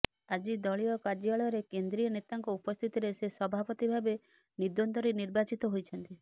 ଆଜି ଦଳୀୟ କାର୍ଯ୍ୟାଳୟରେ କେନ୍ଦ୍ରୀୟ ନେତାଙ୍କ ଉପସ୍ଥିତିରେ ସେ ସଭାପତି ଭାବେ ନିର୍ଦ୍ୱନ୍ଦ୍ୱରେ ନିର୍ବାଚିତ ହୋଇଛନ୍ତି